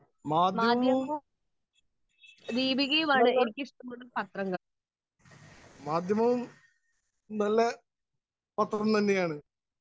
Speaker 1 മാധ്യമവും നല്ല മാധ്യമവും നല്ല പത്രം തന്നെയാണ്.